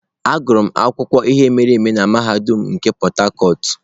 Agụrụ m akụkọ ihe mere eme na mahadum nke Port harcourt.